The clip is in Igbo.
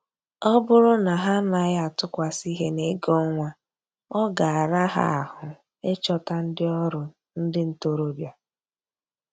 Ọ bụrụ na ha anaghị atụkwasị ihe n'ego ọnwa, ọ ga-ara ha ahụ ịchọta ndị ọrụ ndị ntoroọbịa